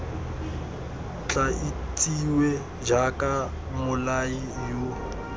tla itsiwe jaaka mmolai yo